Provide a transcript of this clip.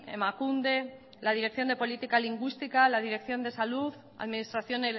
emakunde la dirección de política lingüística la dirección de salud administración